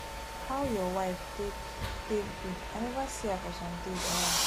how your wife take take do i never see her for some days now